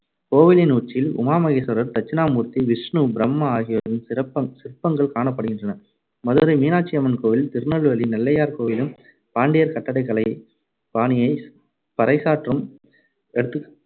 கோவிலின் உச்சியில் உமா மகேஸ்வரர், தட்சிணாமூர்த்தி, விஷ்ணு, பிரம்மா ஆகியோரின் சிறப்பங்க்~ சிற்பங்கள் காணப்படுகின்றன. மதுரை மீனாட்சி அம்மன் கோவில் திருநெல்வேலி நெல்லையார் கோவிலும் பாண்டியர் கட்டடக்கலைப் பாணியைப் பறைசாற்றும் எடுத்து~